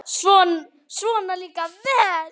Svona líka vel!